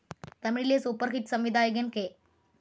തമിഴിലെ super hit സംവിധായകൻ K.